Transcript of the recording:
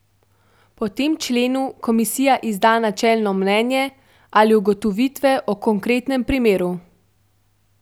Po tem členu komisija izda načelno mnenje ali ugotovitve o konkretnem primeru.